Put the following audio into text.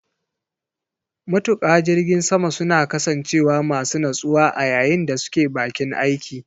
Matuƙa jirgin sama suna kasancewa masu natsuwa a yayin da suke baƙin aiki.